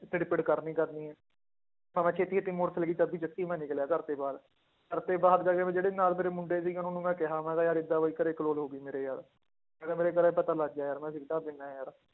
ਖਿੱੜ ਪਿੜ ਕਰਨੀ ਕਰਨੀ ਹੈ ਮੈਂ ਨਿਕਲਿਆ ਘਰਦੇ ਬਾਹਰ, ਘਰਦੇ ਬਾਹਰ ਜਾ ਕੇ ਫਿਰ ਜਿਹੜੇ ਨਾਲ ਮੇਰੇ ਮੁੰਡੇ ਸੀਗੇ ਉਹਨਾਂ ਨੂੰ ਮੈਂ ਕਿਹਾ ਮੈਂ ਕਿਹਾ ਯਾਰ ਏਦਾਂ ਵੀ ਘਰੇ ਕਲੋਲ ਹੋ ਗਈ ਮੇਰੇ ਯਾਰ ਮੈਂ ਕਿਹਾ ਮੇਰੇ ਘਰੇ ਪਤਾ ਲੱਗ ਗਿਆ ਯਾਰ ਮੈਂ ਸਿਗਰਟਾਂ ਪੀਂਦਾ ਹੈ ਯਾਰ